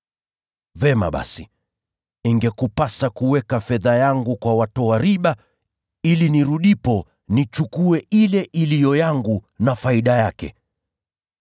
Vyema basi, ingekupasa kuweka fedha yangu kwa watoa riba, ili nirudipo, nichukue ile iliyo yangu na faida yake.